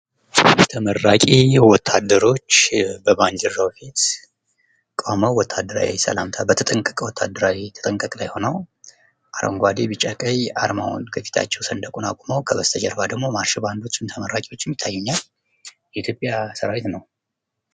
ተመራቂ ወታደሮች በባንዲራው ላይ ቆመው ወታደራዊ ሰላምታ በተጠንቀቅ ላይ ሆነው አረንጓዴ ፣ቢጫ፣ ቀይ አርማውን ከፊታቸው ሰንደቁን አቁመው ከበስተጀርባ ደግሞ ማርሽ ባዶችም ተመራቂዎችም ይታዩኛል። የ ኢትዮጵያ ሰራዊት ነው።